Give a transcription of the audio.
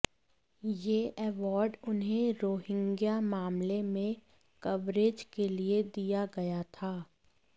यह अवॉर्ड उन्हें रोहिंग्या मामले में कवरेज के लिए दिया गया था